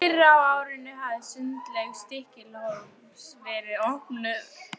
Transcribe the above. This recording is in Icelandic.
Fyrr á árinu hafði Sundlaug Stykkishólms verið opnuð.